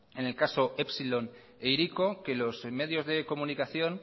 en el caso epsilon e hiriko que los medios de comunicación